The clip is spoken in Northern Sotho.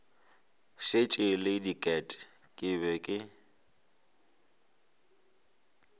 šetše le diket ke be